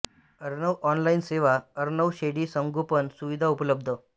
Arnav online सेवा अर्णव शेळी संगोपन सुविधा उपलब्ध